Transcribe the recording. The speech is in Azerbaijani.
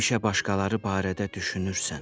Həmişə başqaları barədə düşünürsən.